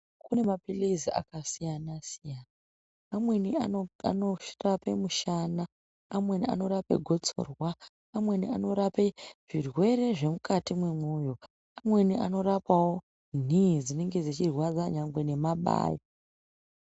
Kune maphilizi akasiyana-siyana amweni anorape mushana, amweni anope gotsorwa, amweni anorape zvirwere zvemukati mwemwoyo. Amweni anorapawo nhii dzinenge dzechirwadza nyangwe nemabayo.